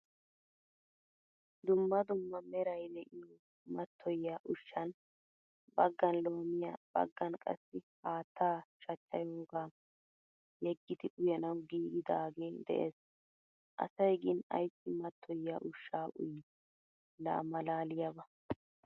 Dumma dumma meray de'iyo matoyiya ushshan baggaan loomiyaa, baggaan qasai haattaa shachchayoga yeegidi uyanawu giigidage de'ees. Asay gin aysi matoyiya ushsha uyi? La malaliyaba.